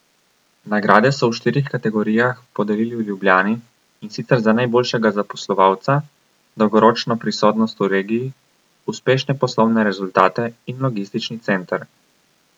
Nagrade so v štirih kategorijah podelili v Ljubljani, in sicer za najboljšega zaposlovalca, dolgoročno prisotnost v regiji, uspešne poslovne rezultate in logistični center.